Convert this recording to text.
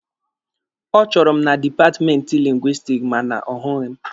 Ọ chọrọ m na dipatmenti Lingwisitiki ma na ọ hụghị m.